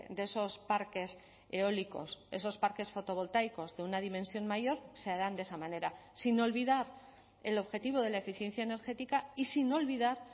de esos parques eólicos esos parques fotovoltaicos de una dimensión mayor se harán de esa manera sin olvidar el objetivo de la eficiencia energética y sin olvidar